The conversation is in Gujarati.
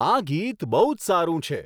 આ ગીત બહુ જ સારું છે